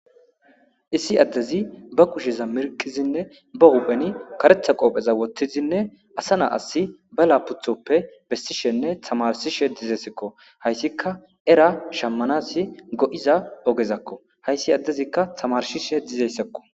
Issi addezi ba kusheza mirkizinne ba hupheni karetha qoopheza wotthizinne asa na asi ba la puthoppe bessishenne tamarsishe dizesekko hayssika era shammanasi go'iza ogezakko hayssi addezikka tamarshishe dizeyssekko